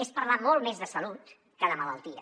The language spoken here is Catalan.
és parlar molt més de salut que de malaltia